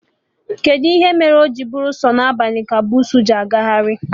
Kedụ ihe mere o ji bụrụ sọ na abalị ka bussu ji agakarị?